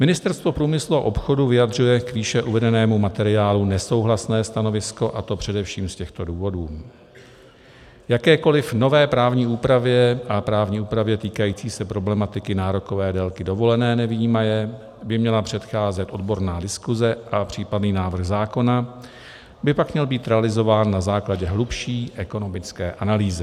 Ministerstvo průmyslu a obchodu vyjadřuje k výše uvedenému materiálu nesouhlasné stanovisko, a to především z těchto důvodů: Jakékoliv nové právní úpravě a právní úpravě týkající se problematiky nárokové délky dovolené nevyjímaje by měla předcházet odborná diskuse a případný návrh zákona by pak měl být realizován na základě hlubší ekonomické analýzy.